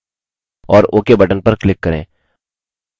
और ok button पर click करें